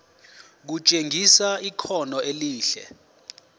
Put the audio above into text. kutshengisa ikhono elihle